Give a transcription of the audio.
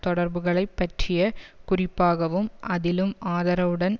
தொடர்புகளைப் பற்றிய குறிப்பாகவும் அதிலும் ஆதரவுடன்